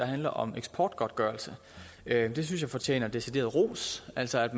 handler om eksportgodtgørelse det synes jeg fortjener decideret ros altså at